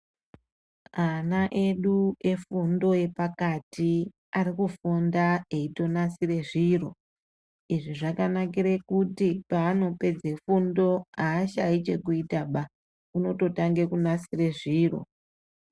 Ana edu efundo yepakati arikufunda eitonasire zviro izvi zvakanakire kuti paanopedzera fundo aashayi chekuita ba unototange kunasire zviro.